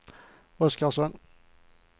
Oskarsson